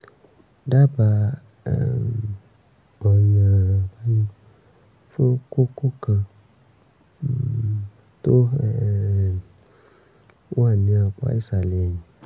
dábàá um ọ̀nà-àbáyọ fún kókó kan um tó um wà ní apá ìsàlẹ̀ ẹ̀yìn